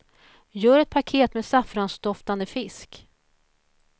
Gör ett paket med saffransdoftande fisk.